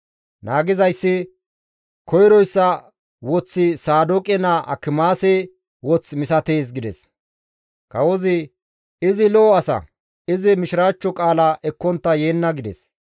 Naagizayssi, «Koyroyssa woththi Saadooqe naa Akimaase woth misatees» gides. Kawozi, «Izi lo7o asa; izi mishiraachcho qaala ekkontta yeenna» gides.